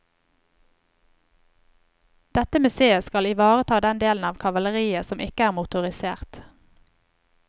Dette museet skal ivareta den delen av kavaleriet som ikke er motorisert.